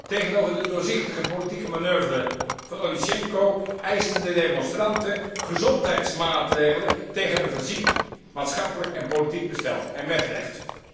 Tegenover de doorzichtige politieke manoeuvre van Onischenko eisten de demonstranten gezondheidsmaatregelen tegen een verziekt maatschappelijk en politiek bestel, en met recht.